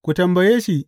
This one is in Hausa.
Ku tambaye shi.